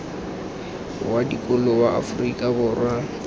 wa dikolo wa afrika borwa